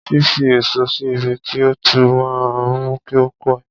Fífi èso sí ibi tí ó tútù máa ń mú kí ó pẹ̀.